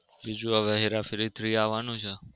બીજું હવે હેરાફેરી three આવવાનું છે